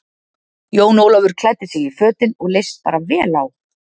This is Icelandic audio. Jón Ólafur klæddi sig í fötin og leist bara vel á.